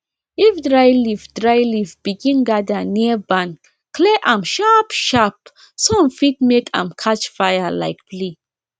if dry leaf dry leaf begin gather near barn clear am sharpsharpsun fit make am catch fire like play